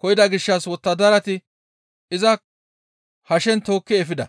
koyida gishshas wottadarati iza hashen tookki efida.